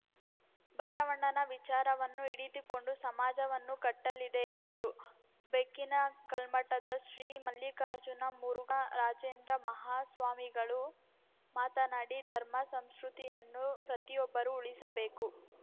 ಬಸವಣ್ಣನ ವಿಚಾರವನ್ನು ಹಿಡಿದುಕೊಂಡು ಸಮಾಜವನ್ನು ಕಟ್ಟಲಿದೆ ಎಂದರು ಬೆಕ್ಕಿನ ಕಲ್ಮಠದ ಶ್ರೀ ಮಲ್ಲಿಕಾರ್ಜುನ ಮುರುಘ ರಾಜೇಂದ್ರ ಮಹಾ ಸ್ವಾಮಿಗಳು ಮಾತನಾಡಿ ಧರ್ಮ ಸಂಸ್ಕೃತಿಯನ್ನು ಪ್ರತಿಯೊಬ್ಬರೂ ಉಳಿಸಬೇಕು